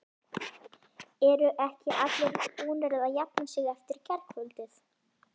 Eru ekki allir búnir að jafna sig eftir gærkvöldið?